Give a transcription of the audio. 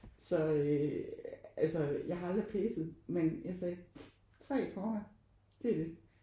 Så øh altså jeg har aldrig præset men jeg sagde: 3 akkorder det er det